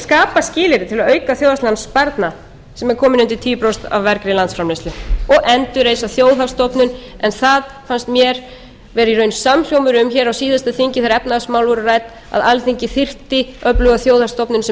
skapa skilyrði til að auka þjóðhagslegan sparnað sem er kominn undir tíu prósent af vergri landsframleiðslu og endurreisa þjóðhagsstofnun en það fannst mér vera í raun samhljómur um hér á síðasta þingi þegar efnahagsmál voru rædd að alþingi þyrfti öfluga þjóðhagsstofnun sem